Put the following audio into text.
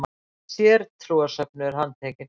HEILL SÉRTRÚARSÖFNUÐUR HANDTEKINN.